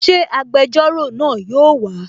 Ṣé agbẹjọ́rò náà yóò wà?